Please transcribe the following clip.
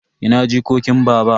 Ina jikokin baba?